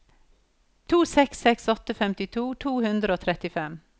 to seks seks åtte femtito to hundre og trettien